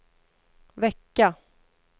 vecka